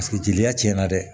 jeliya tiɲɛna dɛ